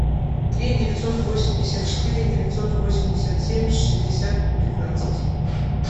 три девятьсот восемьдесят четыре девятьсот восемьдесят семь шестьдесят пятнадцать